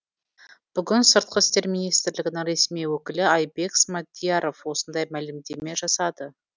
бүгін сыртқы істер министрілгінің ресми өкілі айбек смадияров осындай мәлімдеме жасады